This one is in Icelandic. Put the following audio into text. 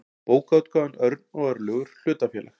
bókaútgáfan örn og örlygur hlutafélag